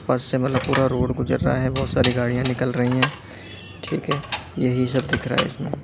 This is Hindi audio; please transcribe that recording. बस से मतलब पूरा रोड गुजर रहा है बहुत सारी गाड़ियां निकल रही हैं ठीक है यही सब दिख रहा है।